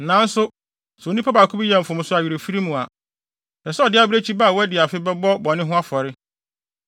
“ ‘Nanso sɛ onipa baako bi yɛ mfomso awerɛfiri mu a, ɛsɛ sɛ ɔde abirekyibere ba a wadi afe bɛbɔ bɔne ho afɔre.